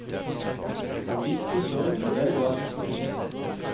Han visste sørgelig vel hva som skulle skje.